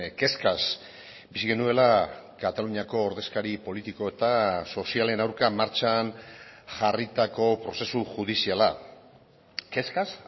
kezkaz bizi genuela kataluniako ordezkari politiko eta sozialen aurka martxan jarritako prozesu judiziala kezkaz